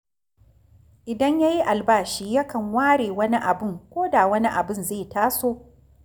Idan ya yi albashi yakan ware wani abun ko da wani abun zai taso